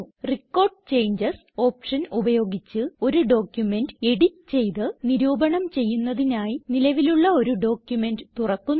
record changes option ഉപയോഗിച്ച് ഒരു document edit ചെയ്ത് നിരൂപണം ചെയ്യുന്നതിനായി നിലവിലുള്ള ഒരു ഡോക്യുമെന്റ് തുറക്കുന്നു